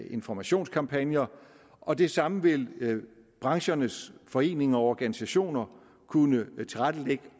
informationskampagner og det samme vil branchernes foreninger og organisationer kunne tilrettelægge